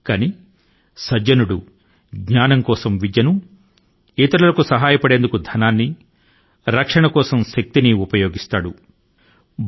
కానీ సజ్జనుడు జ్ఞానం కోసం విద్య ను ఇతరుల కు సహాయపడేందుకు ధనాన్ని రక్షణ కోసం శక్తి ని ఉపయోగిస్తాడు అని భావం